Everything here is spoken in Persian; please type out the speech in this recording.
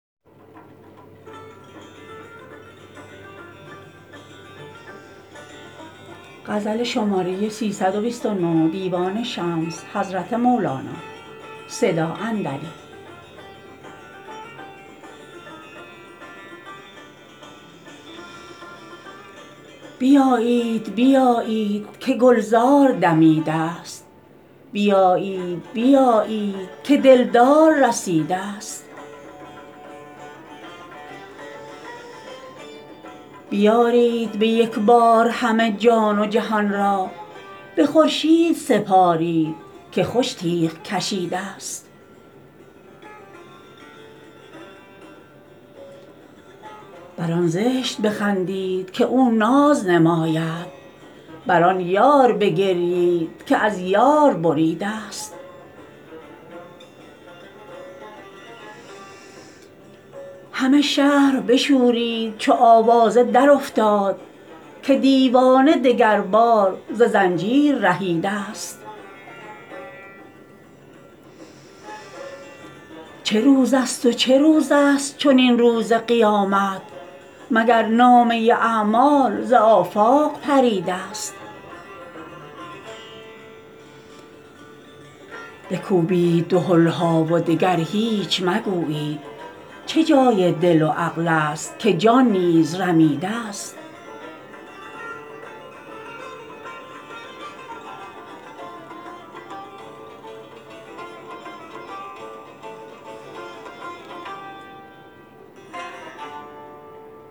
بیایید بیایید که گلزار دمیده ست بیایید بیایید که دلدار رسیده ست بیارید به یک بار همه جان و جهان را به خورشید سپارید که خوش تیغ کشیده ست بر آن زشت بخندید که او ناز نماید بر آن یار بگریید که از یار بریده ست همه شهر بشورید چو آوازه درافتاد که دیوانه دگربار ز زنجیر رهیده ست چه روزست و چه روزست چنین روز قیامت مگر نامه اعمال ز آفاق پریده ست بکوبید دهل ها و دگر هیچ مگویید چه جای دل و عقلست که جان نیز رمیده ست